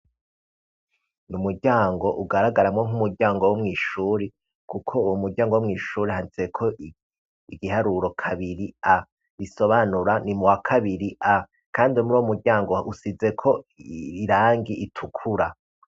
Ni umuryango ugaragaramwo nkumuryango wo mwishuri kuko uwo muryango wo mwishuri handitseko igiharuro kabiri a bisobanura ni muwa kabiri a kandi muruwo muryango usizeko irangi ritukura.